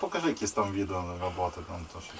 İşdə necə videoların olduğunu göstər, eləmi?